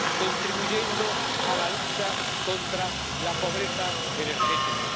contribuyendo a la lucha contra la pobreza energética.